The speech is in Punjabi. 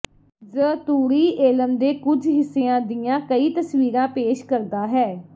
ਜ਼ ਤੂੜੀ ਏਲਮ ਦੇ ਕੁਝ ਹਿੱਸਿਆਂ ਦੀਆਂ ਕਈ ਤਸਵੀਰਾਂ ਪੇਸ਼ ਕਰਦਾ ਹੈ